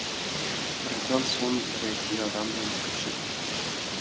біраздан соң бір егде адам ентігіп жетті